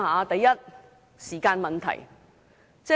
第一，時間問題。